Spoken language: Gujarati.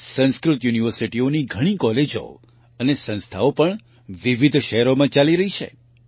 સંસ્કૃત યુનિવર્સિટીઓની ઘણી કોલેજો અને સંસ્થાઓ પણ વિવિધ શહેરોમાં ચાલી રહી છે